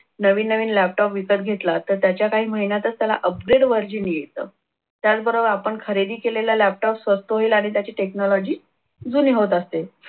नवीन नवीन laptop विकत घेतला त्याच्या काही महिन्यातच त्याला upgrade version येतं. त्याचबरोबर आपण खरेदी केलेला laptop स्वस्त होईल आणि त्याची technology जुनी होत असते.